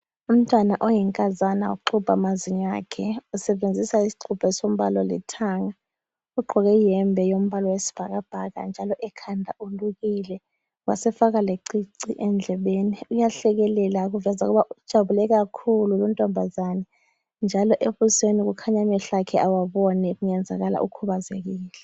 Umntwana oyinkazana uxubha amazinyo akhe. Usebenzisa isixubho esombala olithanga. Ugqoke iyembe yombala wesibhakabhaka njalo ekhanda ulukile wasefaka lecici endlebeni. Uyahlekelela okuveza ukuthi ujabule kakhulu luntombazana njalo ebusweni kukhanya amehlo akhe awaboni kungenzakala ukhubazekile.